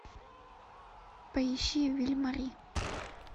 поищи виль мари